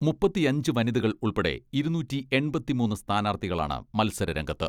മുപ്പത്തിയഞ്ച് വനിതകൾ ഉൾപ്പെടെ ഇരുന്നൂറ്റി എണ്പത്തിമൂന്ന് സ്ഥാനാർത്ഥികളാണ് മത്സര രംഗത്ത്.